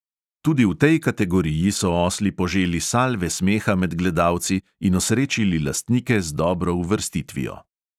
Tudi v tej kategoriji so osli poželi salve smeha med gledalci in osrečili lastnike z dobro uvrstitvijo.